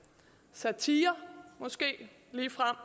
satire måske ligefrem